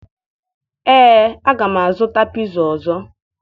Ee, aga m azụta piza ọzọ